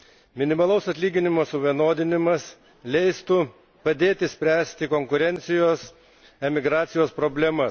Minimalaus atlyginimo suvienodinimas leistų padėti spręsti konkurencijos, emigracijos problemas.